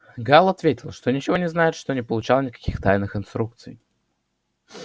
гаал ответил что ничего не знает что не получал никаких тайных инструкций